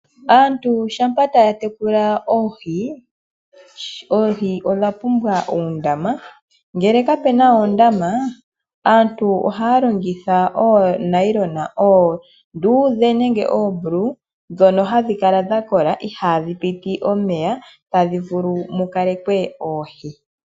Aantu shampa taya tekula oohi, oohi odha pumbwa oondama ngele kapena oondama aantu ohaya longitha oonayilona oondudhe nenge oombulawu ndhono hadhi kala dhakoka ihaadhi piti omeya tadhi vulu okukalekwa oohi.